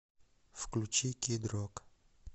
включи кид рок